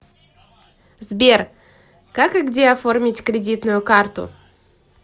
сбер как и где оформить кредитную карту